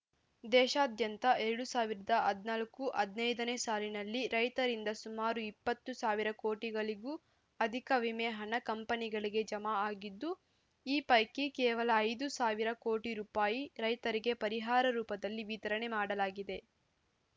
ದೇಶಾದ್ಯಂತ ಎರಡ್ ಸಾವಿರದ ಹದಿನಾಲ್ಕು ಹದಿನೈದು ನೇ ಸಾಲಿನಲ್ಲಿ ರೈತರಿಂದ ಸುಮಾರು ಇಪ್ಪತ್ತು ಸಾವಿರ ಕೋಟಿಗಳಿಗೂ ಅಧಿಕ ವಿಮೆ ಹಣ ಕಂಪನಿಗಳಿಗೆ ಜಮಾ ಆಗಿದ್ದು ಈ ಪೈಕಿ ಕೇವಲ ಐದು ಸಾವಿರ ಕೋಟಿ ರುಪಾಯಿ ರೈತರಿಗೆ ಪರಿಹಾರ ರೂಪದಲ್ಲಿ ವಿತರಣೆ ಮಾಡಲಾಗಿದೆ